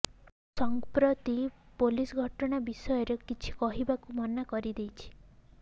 ସଂପ୍ରତି ପୋଲିସ ଘଟଣା ବିଷୟରେ କିଛି କହିବାକୁ ମନା କରି ଦେଇଛି